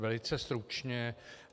Velice stručně.